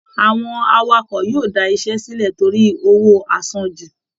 Àwọn Awakọ̀ yóò da iṣẹ́ sílẹ̀ torí owó àsanjù